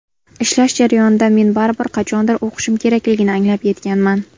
Ishlash jarayonida men baribir qachondir o‘qishim kerakligini anglab yetganman.